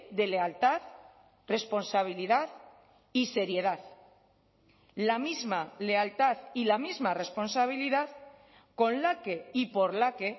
de lealtad responsabilidad y seriedad la misma lealtad y la misma responsabilidad con la que y por la que